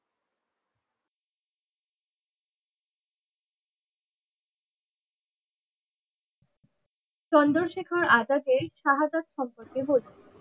চন্দ্রশেখর আজাদের সহোদর সম্পর্কে বলুন?